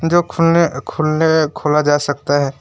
जो खुलने खुलने खुला जा सकता है।